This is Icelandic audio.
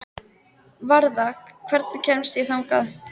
Varða, hvernig kemst ég þangað?